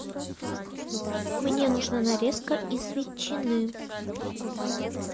мне нужна нарезка из ветчины